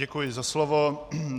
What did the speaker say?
Děkuji za slovo.